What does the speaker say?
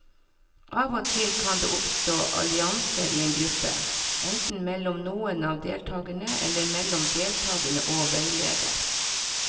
Av og til kan det oppstå allianser i en gruppe, enten mellom noen av deltakerne eller mellom deltakere og veileder.